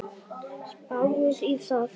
Spáið í það!